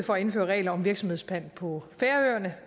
for at indføre regler om virksomhedspant på færøerne